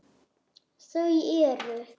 Þau eru